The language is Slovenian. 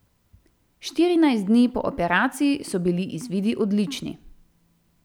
Štirinajst dni po operaciji so bili izvidi odlični.